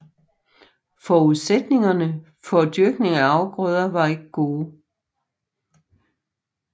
Forudsætningerne for dyrkning af afgrøder var ikke gode